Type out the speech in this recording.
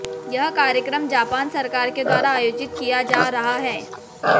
यह कार्यक्रम जापान सरकार के द्वारा आयोजित किया जा रहा है